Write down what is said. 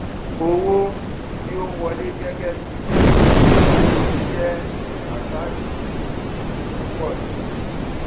owó tí ó ń wọlé gẹgẹbí owó orí jẹ account gbèsè tó ń pọ sí i